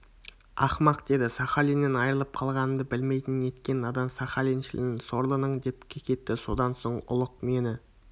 ақымақ деді сахалиннен айырылып қалғанымды білмейтін неткен надан сахалиншілін сорлының деп кекетті содан соң ұлық мені